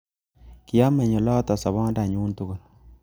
Kiameny oloto sobondo nyu tugul